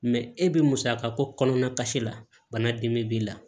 e bi musaka ko kɔnɔna kasi la bana dimi b'i la